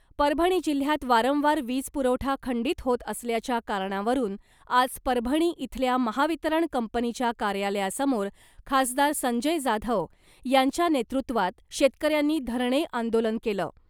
परभणी जिल्ह्यात वारंवार वीज पुरवठा खंडित होत असल्याच्या कारणावरून आज परभणी इथल्या महावितरण कंपनीच्या कार्यालयासमोर खासदार संजय जाधव यांच्या नेतृत्वात शेतकऱ्यांनी धरणे आंदोलन केलं .